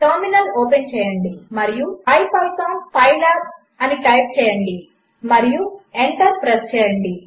టర్మినల్ఓపెన్చేయండిమరియుipython pylabఅనిటైప్చేయండిమరియుఎంటర్ప్రెస్చేయండి